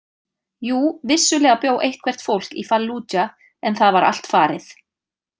Jú, vissulega bjó eitthvert fólk í Fallúdja en það var allt farið.